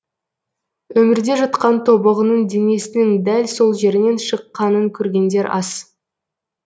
өмірде жұтқан тобығының денесінің дәл сол жерінен шыққанын көргендер аз